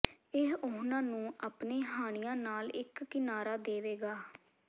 ਇਹ ਉਨ੍ਹਾਂ ਨੂੰ ਆਪਣੇ ਹਾਣੀਆਂ ਨਾਲ ਇਕ ਕਿਨਾਰਾ ਦੇਵੇਗਾ